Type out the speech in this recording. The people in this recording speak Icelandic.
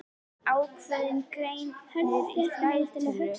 Ákveðinn greinir í fleirtölu.